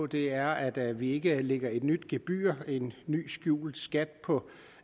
det er at vi ikke lægger et nyt gebyr en ny skjult skat på